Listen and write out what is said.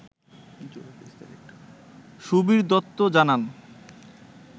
সুবির দত্ত জানান